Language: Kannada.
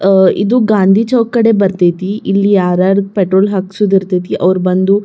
ಅಹ್ ಇದು ಗಾಂಧಿ ಚೌಕ್ ಕಡಿ ಬರತೈತಿ ಇಲ್ಲಿ ಯಾರುಯಾರು ಪೆಟ್ರೋಲ್ ಹಾಕ್ಸೋದಿರತೈತಿ ಅವ್ರ ಬಂದು--